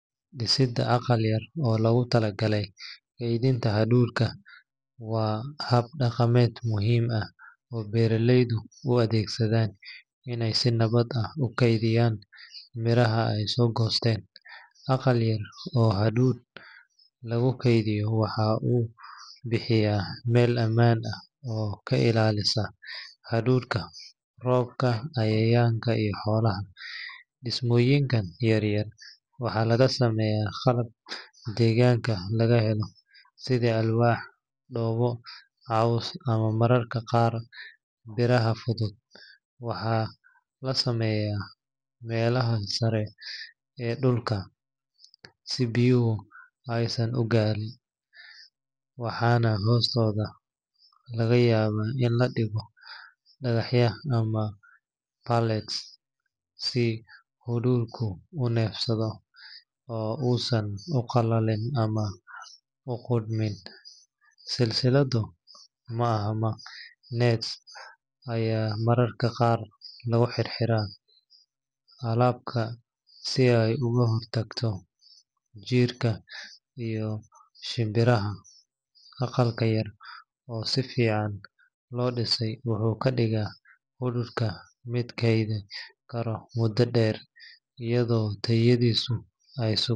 Disida aqal yar oo logutalagalay keydinta dulka, wa hab dagamed muxiim ah, oo belayeldu u adegsadan in si nawad ah u keydiyan miraha ay sogosten, aqal yar oo hadow lagukeydiyo waxa uu bihiya mel amaan ah, oo kailalisa dulka roobka cayayanka iyo xoolaha, dismoyinkan yar yar waxa lagasameya qalab deganka lagahelo sidha alwah doboo ama mararka qaar biraha fudud, waha lasameya melahan saree ee dulka si biyuhu aysan ugariin, waxan hostoda lagayawa in ladigo daqacya ama si uu dulku unefsado, oo u san ugalalin ama ugodmin, silsiladu maaaha net aya mararka qaar laguhirhira, qalabka si ay uguhortakto jirka ama shimbiraha, aqalka yar oo si fican lodisay wuxu kadiga dulka mid keyd eh karo muda derr iyadu tayadisu ay.